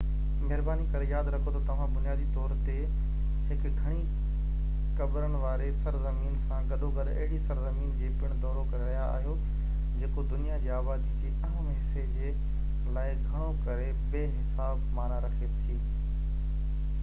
مهرباني ڪري ياد رکو تہ توهان بنيادي طور تي هڪ گهڻن قبرن واري سر زمين سان گڏوگڏ اهڙي سرزمين جو پڻ دورو ڪري رهيا آهيو جيڪو دنيا جي آبادي جي اهم حصي جي لاءِ گھڻو ڪري بي حساب معنيٰ رکي ٿي